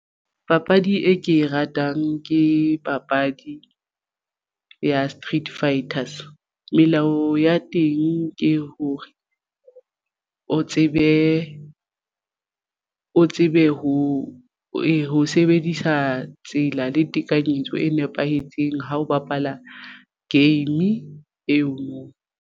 Papadi e ke e ratang ke papadi ya Street Fighters melao ya teng ke hore o tsebe ho e sebedisa tsela le tekanyetso e nepahetseng ha o bapala game eo.